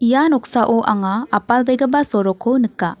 ia noksao anga apalbegipa sorokko nika.